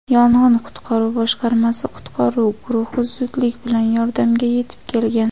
yong‘in-qutqaruv boshqarmasi qutqaruv guruhi zudlik bilan yordamga yetib kelgan.